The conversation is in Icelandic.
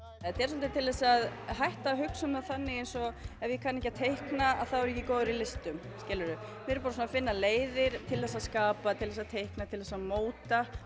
þetta er svolítið til þess að hætta að hugsa um það þannig eins og ef ég kann ekki á teikna þá er ég ekki góður í listum skilurðu við erum bara að finna leiðir til þess að skapa til þess að teikna til þess að móta